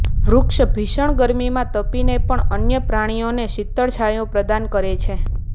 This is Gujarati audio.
વૃક્ષ ભીષણ ગરમીમાં તપીને પણ અન્ય પ્રાણીઓને શીતળ છાયો પ્રદાન કરે છે